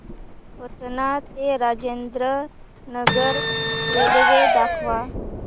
पटणा ते राजेंद्र नगर रेल्वे दाखवा